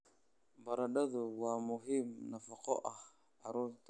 Baradhadu waa muhiim nafaqo ahaan carruurta.